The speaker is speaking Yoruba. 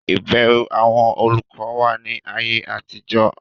ìbẹrù àwọn olùkọ wà ní ayé àtijọ́.